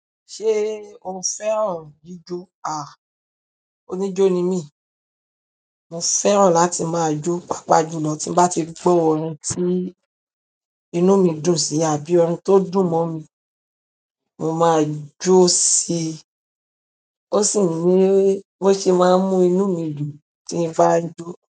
Ṣé o fẹ́ràn jíjo? A, oníjó ni mí. Mo fẹ́ràn láti máa jó, pàápàá jùlọ tí mo bá ti rí gbo ọ̀rin tí inú mi dùn sí àbí ọ̀rin tó dùn mọ́ mi, mo máa jó síi. Ó sì ni bo ṣe máa ń mú inú mi dùn tí n bá ń jọ.